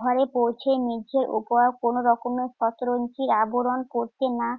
ঘরে পৌঁছে মেঝের উপরে কোনরকমে শতরঞ্জির আবরণ পড়ছে না।